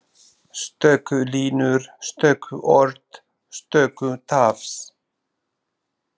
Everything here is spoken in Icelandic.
Stöku línur, stöku orð, stöku tafs.